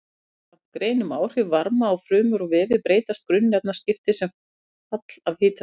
Samkvæmt grein um áhrif varma á frumur og vefi breytast grunnefnaskipti sem fall af hitastigi.